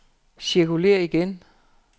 cirkulér igen